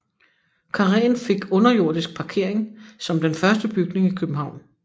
Karréen fik underjordisk parkering som den første bygning i København